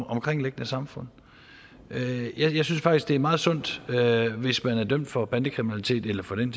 omkringliggende samfund jeg synes faktisk det er meget sundt hvis man er dømt for bandekriminalitet eller for den